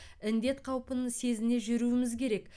індет қаупін сезіне жүруіміз керек